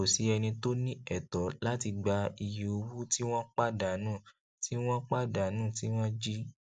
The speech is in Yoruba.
kò sí ẹni tó ní ẹtọ láti gba iye owó tí wọn pàdánù tí wọn pàdánù tí wọn jí